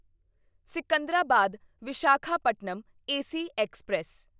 Secunderabad Visakhapatnam AC express